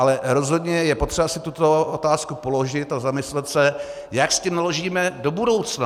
Ale rozhodně je potřeba si tuto otázku položit a zamyslet se, jak s tím naložíme do budoucna.